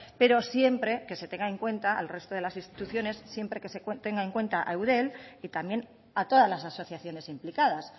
pero siempre que se tenga en cuenta al resto de las instituciones siempre que se tenga en cuenta a eudel y también a todas las asociaciones implicadas